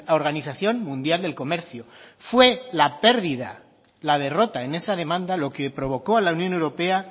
organización mundial del comercio fue la perdida la derrota en esa demanda lo que provocó a la unión europea